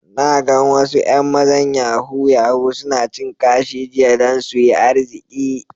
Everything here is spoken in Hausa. Na gan wasu yan mazan yahoo-yahoo suna cin kashi jiya dan su yi arziki.